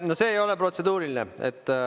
No see ei ole protseduuriline.